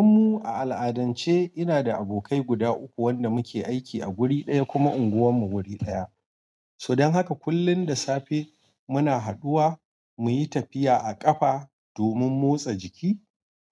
Don mu a al'adance ina da abokai guda uku wanda muke aiki a guri ɗaya kuma unguwarmu guri ɗaya. So dan haka kullum da safe muna haɗuwa muyi tafiya a ƙafa domin motsa jiki